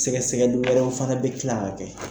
Sɛgɛsɛgɛli wɛrɛw fana bɛ kila kɛ.